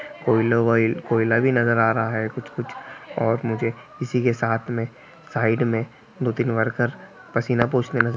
कोईला वाईल कोयला भी नजर आ रहा है कुछ-कुछ और मुझे इसी के साथ में साइड में दो तीन वर्कर पसीना पोछते नजर--